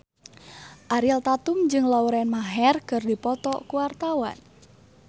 Ariel Tatum jeung Lauren Maher keur dipoto ku wartawan